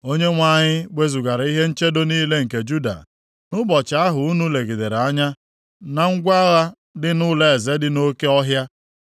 Onyenwe anyị wezugara ihe nchedo niile nke Juda, nʼụbọchị ahụ unu legidere anya na ngwa agha dị nʼỤlọeze dị nʼOke ọhịa.